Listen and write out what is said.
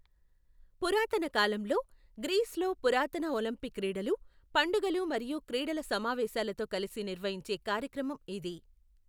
పురాతన కాలంలో, గ్రీస్లో పురాతన ఒలింపిక్ క్రీడలు, పండుగలు మరియు క్రీడల సమావేశాలతో కలిసి నిర్వహించే కార్యక్రమం ఇది.